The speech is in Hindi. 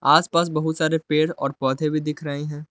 आस-पास बहुत सारे पेर और पौधे भी दिख रही हैं।